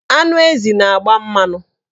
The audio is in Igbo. Anụ ezi na-agba mmanụ.